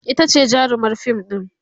itace jarumar fim ɗin